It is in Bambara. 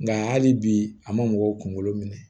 Nka hali bi a ma mɔgɔw kunkolo minɛ